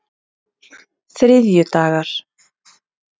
þriðjudagar